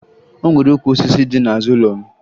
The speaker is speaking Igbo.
O nwere ukwu osisi dị n'azụ ụlọ m